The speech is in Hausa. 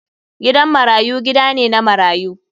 Gidan marayu gida ne na marayu.